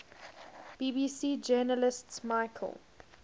bbc journalist michael